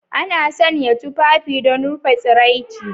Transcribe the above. Ana sanya tufafi don rufe tsiraici.